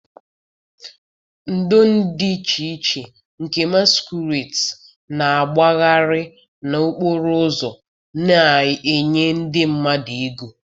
ndo dị iche iche nke masquerades na-agbagharị n'okporo ụzọ na-enye ndị mmadụ ego.